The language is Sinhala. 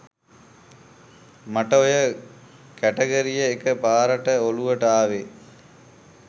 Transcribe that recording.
මට ඔය කැටගරිය එක පාරට ඔළුවට ආවේ